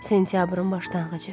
Sentyabrın başlanğıcı.